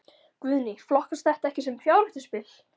Guðný: Flokkast þetta ekki sem fjárhættuspil?